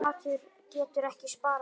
Matur getur ekki sparað.